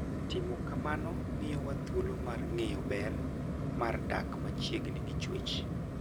Timo kamano miyowa thuolo mar ng'eyo ber mar dak machiegni gi chwech.